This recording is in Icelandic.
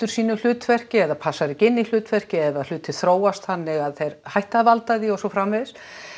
sínu hlutverki eða passar ekki inn í hlutverkið eða hlutir þróast þannig að þeir hætta að valda því og svo framvegis